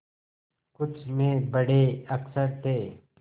कुछ में बड़े अक्षर थे